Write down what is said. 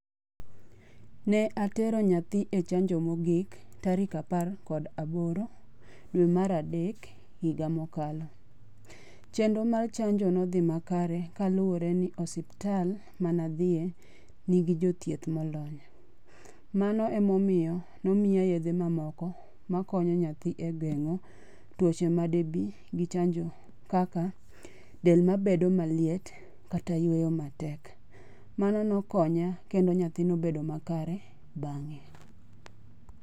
Ne atero nyathi e chanjo mogik tarik apar kod aboro dwe mar adek higa mokalo. Chenro mar chanjo nodhi makare kaluwore ni osiptal mane odhiye nigi jothieth molony. Mano emomiyo nomiya yedhe mamoko makonyo nyathi e gengo tuoche made bi gi chanjo kaka: del mabedo maliet kata yueyo matek. Mano nokonya kendo nyathi nobedo makare bang'e.